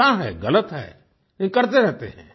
पता है गलत है ये करते रहते हैं